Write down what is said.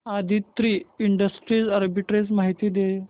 Aditri industries arbitrage माहिती दे